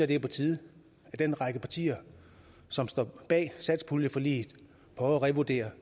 det er på tide at den række partier som står bag satspuljeforliget prøver at revurdere